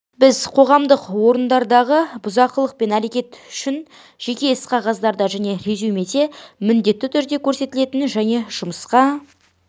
біз қоғамдық орындардағы бұзақылық әрекет үшін жеке іс қағазында және резюмеде міндетті түрде көрсетілетін және жұмысқа